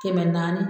Kɛmɛ naani